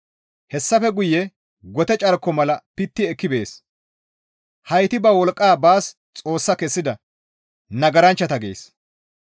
Hessafe guye gote carko mala pitti ekki bees; heyti ba wolqqa baas xoossa kessida nagaranchchata» gees.